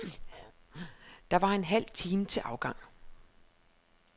Der var en halv time til afgang.